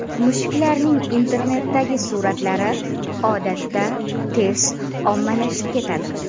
Mushuklarning internetdagi suratlari odatda tez ommalashib ketadi.